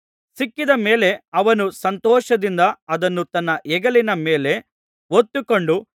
ಸಿಕ್ಕಿದ ಮೇಲೆ ಅವನು ಸಂತೋಷದಿಂದ ಅದನ್ನು ತನ್ನ ಹೆಗಲಿನ ಮೇಲೆ ಹೊತ್ತುಕೊಂಡು